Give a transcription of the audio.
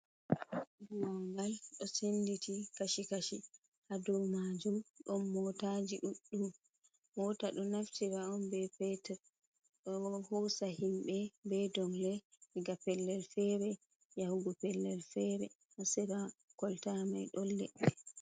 Buwangal do senditi kashi kashi ha do majum don motaji ɗuɗɗum mota du naftira on be petur do hosa himbe be dongle diga pellel fere yahugo pellel fere ha sera kolta mai do ledde.